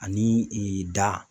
Ani da